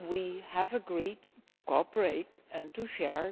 we have agreed to cooperate and to share.